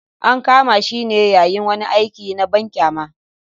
An kama shi ne yayin wani aiki na banƙyama.